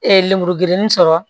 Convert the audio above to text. lemuru gerenni sɔrɔ